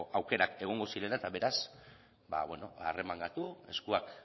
aukerak egongo zirela eta beraz arremangatu eskuak